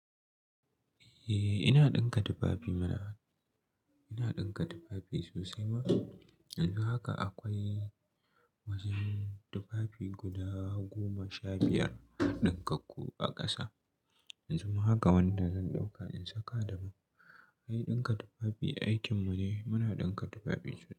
Eh, ina ɗinka tufafi mana. Ina ɗinka tufafi sosai ma. Yanzu haka akwai wasu tufafi guda goma sha biyar ɗinkakku a ƙasa. Yanzu ma haka wanda zan ɗauka in saka damu. Eh ɗinka tufafi aikin mune, muna ɗinka tufafi.